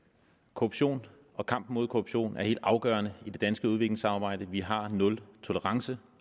korruption og kampen mod korruption er helt afgørende i det danske udviklingssamarbejde vi har nul tolerance